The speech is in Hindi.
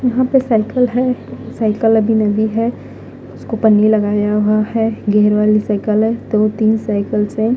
यहां पे साइकिल है साइकिल अभी नवी है उसको पन्नी लगाया हुआ है गियर वाली साइकिल है दो तीन साइकिलस है।